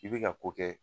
I bɛ ka ko kɛ